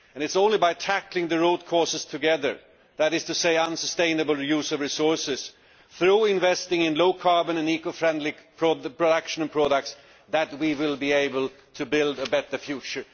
It is only by tackling the root causes together that is to say, unsustainable use of resources through investing in low carbon and eco friendly production and products, that we will be able to build a better future.